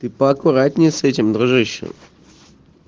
ты поаккуратнее с этим дружище